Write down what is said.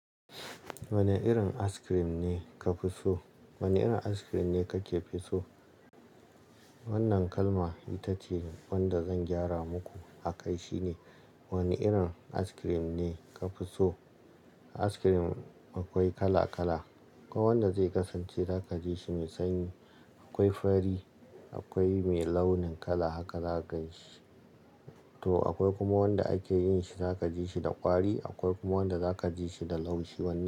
Wane irin ice cream ne ka fi so? Wane irin ice-cream ne ka ke fi so? Wannan kalma ita ce wanda zan gyara muku a kai. Shi ne, wane irin ice-cream ne ka fi so? Ice-cream akwai kala--kala, ko wanda zai kasance za ka ji shi mai sanyi. Akwai fari, akwai mai launin kala hakan za ka yi shi. To akwai kuma wanda ake yin shi za ka ji shi da kwari, akwai kuma wanda za ka ji shi da laushi. Wane--